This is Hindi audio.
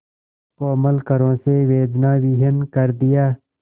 कोमल करों से वेदनाविहीन कर दिया